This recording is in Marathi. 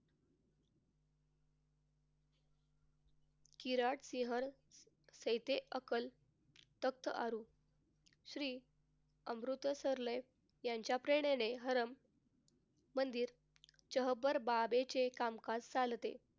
सेते अकाल तख्त सुरू श्री अमृतसरले यांच्या प्रेरणेने मंदिर चहबर बाबेचे कामकाज चालते.